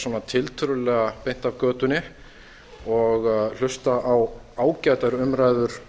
svona tiltölulega beint af götunni og hlusta á ágætar umræður